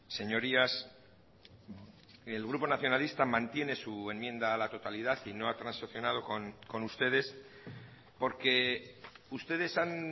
señorías el grupo nacionalista mantiene su enmienda a la totalidad y no ha transaccionado con ustedes porque ustedes han